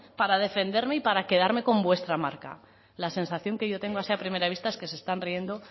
para defenderme y para quedarme con vuestra marca la sensación que yo tengo así a primera vista es que se están riendo